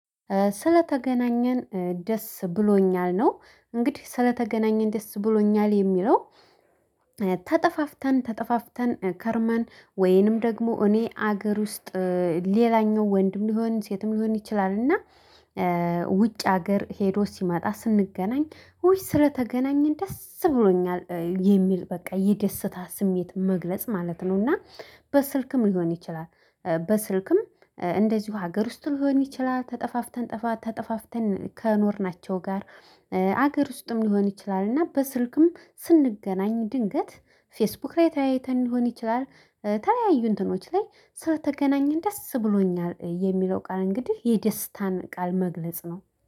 ስለተገናኘን ደስ ብሎኛል። ነው እንግዲህ ስለተገናኘን ደስ ብሎኛል። የሚለው ተጠፋፍተን ተጠፋፍተን ከርማን ወይንም ደግሞ እኔ አገር ውስጥ ሌላኛው ወንድም ይሆን ሴትም ሊሆን ይችላል እና ውጭ ሀገር ሄዶ ሲመጣ ስንገናኝ ውይ ስለተገናኘን ደስ ብሎኛል! የሚል በቃ የደስታ ስሜት መግለጽ ማለት ነው። እና በስልክም ሊሆን ይችላል። በስልክም እንደዚሁ ሀገር ውስጥ ሊሆን ይችላል። ተጠፋፍተን ጠፋ ተጠፋፍተን ከኖርናቸው ጋር ሀገር ውስጥም ሊሆን ይችላል። እና በስልክም ስንገናኝ ድንገት ፌስቡክ ላይ ተያይተን ሊሆን ይችላል። ተለያዩ እንትኖች ላይ ስለተገናኘን ደስ ብሎኛል! የሚለው ቃል እንግዲህ የደስታን ቃል መግለጽ ነው።